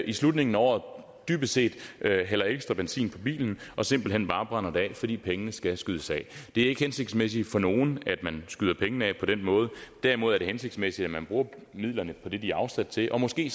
i slutningen af året dybest set hælder ekstra benzin på bilen og simpelt hen bare brænder det af fordi pengene skal skydes af det er ikke hensigtsmæssigt for nogen at man skyder pengene af på den måde derimod er det hensigtsmæssigt at man bruger midlerne på det de er afsat til og måske